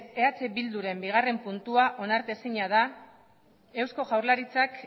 eh bilduren bigarrena puntua onartezina da eusko jaurlaritzak